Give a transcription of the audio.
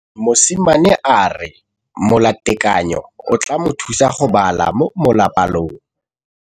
Mosimane a re molatekanyô o tla mo thusa go bala mo molapalong.